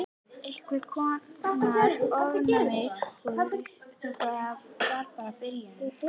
Einhvers konar ofnæmi. Og þetta var bara byrjunin.